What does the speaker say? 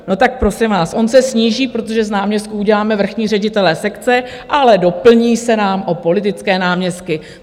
No tak prosím vás, on se sníží, protože z náměstků uděláme vrchní ředitele sekce, ale doplní se nám o politické náměstky.